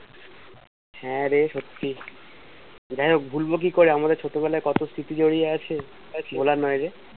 হ্যাঁ রে সত্যি যাইহোক ভুলবো কি করে আমাদের ছোটবেলায় কত স্মৃতি জড়িয়ে আছে সেটা ভোলার নই রে।